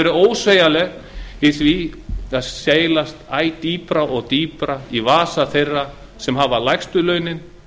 verið ósveigjanleg í því að seilast æ dýpra í vasa þeirra sem hafa lægstu launin